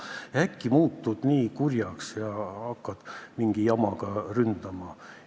Aga äkki muutud nii kurjaks ja hakkad mingi jamaga ründama.